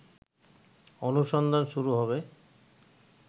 অনুসন্ধান শুরু হবে